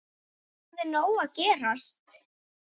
Það er nóg að gerast.